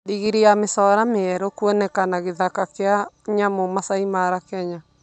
Ndigiri ya mĩcora njerũ kũonekana gĩthaka kĩa nyamũ Masai Mara Kenya.